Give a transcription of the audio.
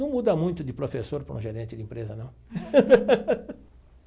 Não muda muito de professor para um gerente de empresa, não.